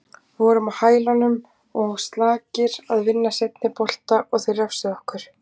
Við vorum á hælunum og slakir að vinna seinni bolta og þeir refsuðu okkur.